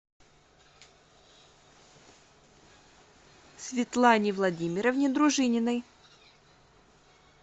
светлане владимировне дружининой